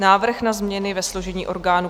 Návrh na změny ve složení orgánů